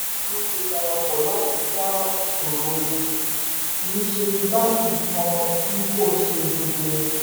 àwọn onímọ̀ ìṣúná ti parapọ̀ láti ja ìṣòro; kì í ṣe ti báńkì kan bí kò ṣe gbogbo wọn